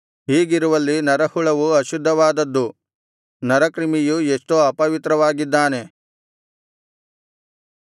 ಹೀಗಿರುವಲ್ಲಿ ನರಹುಳವು ಅಶುದ್ಧವಾದದ್ದು ನರಕ್ರಿಮಿಯು ಎಷ್ಟೋ ಅಪವಿತ್ರವಾಗಿದ್ದಾನೆ